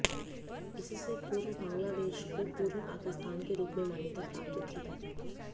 इससे पूर्व बांग्लादेश को पूर्वी पाकिस्तान के रूप में मान्यता प्राप्त थी